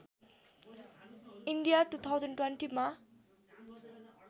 India २०२० मा